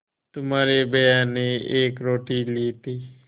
तुम्हारे भैया ने एक रोटी ली थी